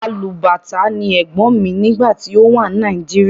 Alubàtá ni ẹ̀gbọ́n mi nígbà tí ó wà ní Nàìjíríà.